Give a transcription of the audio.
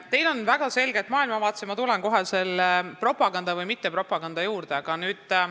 Teil on väga selge maailmavaade ja ma tulen kohe selle propaganda või mittepropaganda juurde.